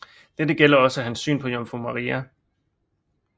Dette gælder også hans syn på Jomfru Maria